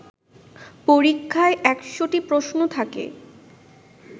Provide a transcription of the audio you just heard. পরীক্ষায় ১০০টি প্রশ্ন থাকে।